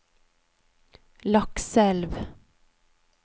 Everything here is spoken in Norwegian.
Lakselv